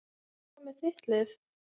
En hvað með þitt lið?